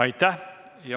Aitäh!